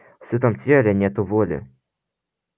в сытом теле нету воли